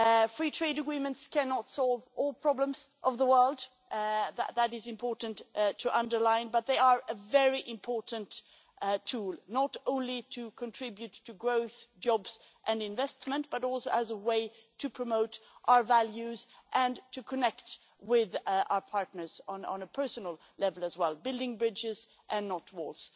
Free trade agreements cannot solve all the problems of the world, that is important to underline, but they are a very important tool, not only to contribute to growth, jobs and investment, but also as a way to promote our values and to connect with our partners on a personal level as well building bridges and not walls.